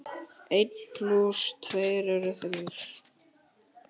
Einn plús tveir eru þrír.